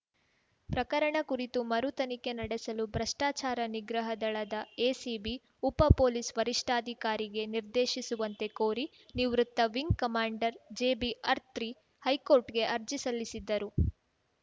ಪ್ರಕರಣ ಕುರಿತು ಮರು ತನಿಖೆ ನಡೆಸಲು ಭ್ರಷ್ಟಚಾರ ನಿಗ್ರಹ ದಳದ ಎಸಿಬಿ ಉಪ ಪೊಲೀಸ್‌ ವರಿಷ್ಠಾಧಿಕಾರಿಗೆ ನಿರ್ದೇಶಿಸುವಂತೆ ಕೋರಿ ನಿವೃತ್ತ ವಿಂಗ್‌ ಕಮಾಂಡರ್‌ ಜಿಬಿಅರ್ತ್ರಿ ಹೈಕೊರ್ಟ್‌ಗೆ ಅರ್ಜಿ ಸಲ್ಲಿಸಿದ್ದರು